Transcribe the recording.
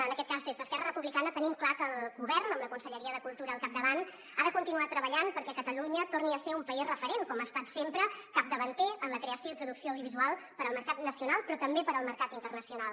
en aquest cas des d’esquerra republicana tenim clar que el govern amb la conselleria de cultura al capdavant ha de continuar treballant perquè catalunya torni a ser un país referent com ha estat sempre capdavanter en la creació i producció audiovisual per al mercat nacional però també per al mercat internacional